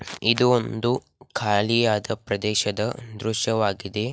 ಇದು ಒಂದು ಖಾಲಿ ಆದ ಪ್ರದೇಶದ ಹ್ಮ್ ದೃಶ್ಯವಾಗಿದೆ.